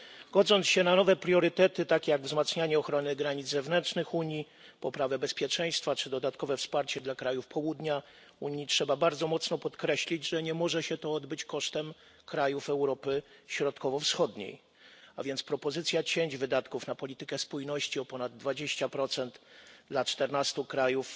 Godząc się na nowe priorytety takie jak wzmacnianie ochrony granic zewnętrznych Unii, poprawę bezpieczeństwa czy dodatkowe wsparcie dla krajów południa Unii, trzeba bardzo mocno podkreślić, że nie może się to odbyć kosztem krajów Europy Środkowo Wschodniej, a więc propozycja cięć wydatków na politykę spójności o ponad 20 dla czternastu krajów